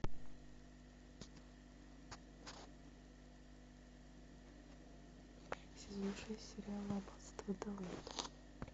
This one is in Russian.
сезон шесть сериал аббатство даунтон